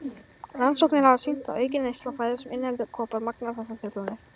Rannsóknir hafa sýnt að aukin neysla á fæðu sem inniheldur kopar magnar þessar truflanir.